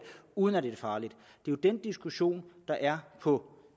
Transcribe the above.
uden at det er farligt det er den diskussion der er på